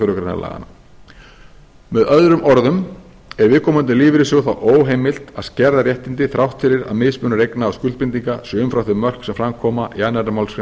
grein laganna með öðrum orðum er viðkomandi lífeyrissjóði þá óheimilt að skerða réttindi þrátt fyrir að mismunur eigna og skuldbindinga sé umfram þau mörk sem fram koma í annarri málsgrein